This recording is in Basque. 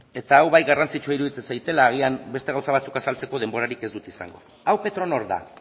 eta hau bai garrantzitsua iruditzen zaidala agian beste gauza batzuk azaltzeko ez dut izango hau petronor da